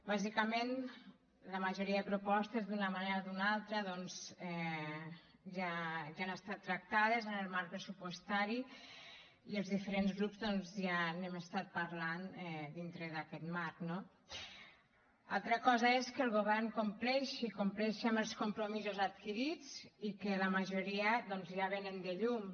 bàsicament la majoria de propostes d’una manera o d’una altra doncs ja han estat tractades en el marc pressupostari i els diferents grups doncs ja n’hem estat parlant dintre d’aquest marc no altra cosa és que el govern compleixi compleixi amb els compromisos adquirits i que la majoria doncs ja venen de lluny